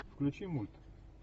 включи мульт